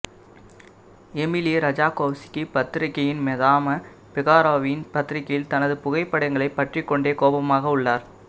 Emily Ratajkowski பத்திரிகையின் Madame பிகாரோவின் பத்திரிகையில் தனது புகைப்படங்களைப் பற்றிக் கொண்டே கோபமாக உள்ளார்